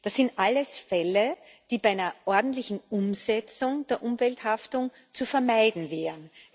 Das sind alles Fälle, die bei einer ordentlichen Umsetzung der Umwelthaftung zu vermeiden wären.